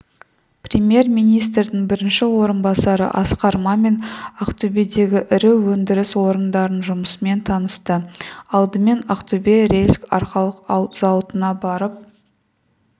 премьер-министрдің бірінші орынбасары асқар мамин ақтөбедегі ірі өндіріс орындарының жұмысымен танысты алдымен ақтөбе рельс-арқалық зауытына барып